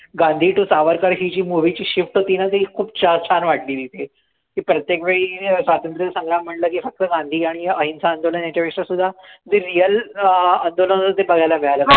Gandhi to Savarkar ही जी movie ची shift होती ना ती खूप छान छान वाटली तिथे ती प्रत्येक वेळी अं स्वतंत्र संग्राम म्हंटलं की फक्त गांधी आणि अहिंसा आंदोलन ह्याच्यापेक्षा सुद्धा जे real अं आंदोलन होतं ते बघायला मिळालं.